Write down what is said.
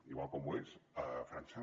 igual com ho és frança